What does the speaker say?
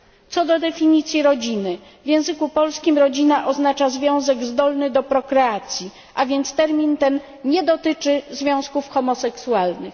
Co do definicji rodziny w języku polskim rodzina oznacza związek zdolny do prokreacji, a więc termin ten nie dotyczy związków homoseksualnych.